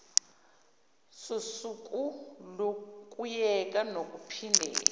sosuku lokuyeka nokuphindela